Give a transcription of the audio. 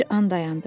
Bir an dayandı.